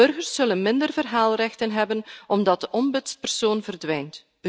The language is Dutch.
Burgers zullen minder verhaalrechten hebben omdat de ombudspersoon verdwijnt.